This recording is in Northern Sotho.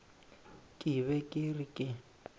ke be ke re ke